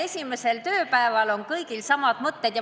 Esimesel tööpäeval on kõigil samad mõtted.